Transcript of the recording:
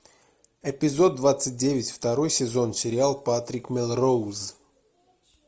эпизод двадцать девять второй сезон сериал патрик мелроуз